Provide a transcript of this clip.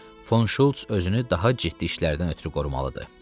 Fon Şults özünü daha ciddi işlərdən ötrü qorumalıdı.